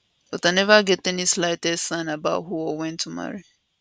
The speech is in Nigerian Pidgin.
but i neva get any slightest sign about who or when to marry